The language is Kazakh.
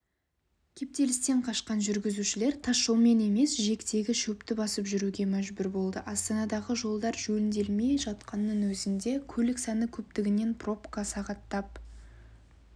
кептелістен қашқан жүргізушілер тасжолмен емес жиектегі шөпті басып жүруге мәжбүр болды астанадағы жолдар жөнделмей жатқанның өзінде көлік саны көптігінен пробкада сағаттап